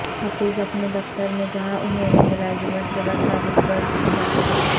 حفیظ اپنے دفتر میں جہاں انہوں نے ملازمت کے بعد چالیس برس گزارے